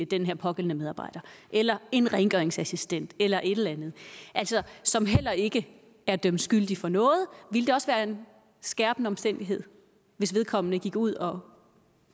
den her pågældende medarbejder eller en rengøringsassistent eller en anden som heller ikke er dømt skyldig for noget ville det også være en skærpende omstændighed hvis vedkommende gik ud og